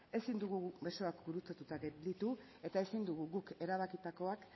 ezin dugu besoak gurutzatu gelditu eta ezin dugu guk erabakitakoak